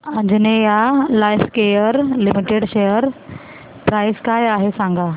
Anjaneya Lifecare limited share price काय आहे सांगा